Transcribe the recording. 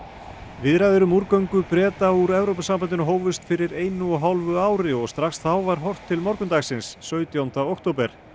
viðræður um Breta úr Evrópusambandinu hófust fyrir einu og hálfu ári og strax þá var horft til morgundagsins sautjánda október